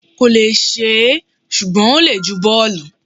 kò lè ṣe é, ṣùgbọ́n ó le ju bọ́ọ̀lù.